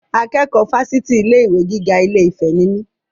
Akẹ́kọ̀ọ́ Fásitì ilé ìwé gíga ilé-ìfẹ́ ni mí.